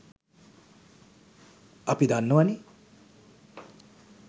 අපි දන්නවනෙ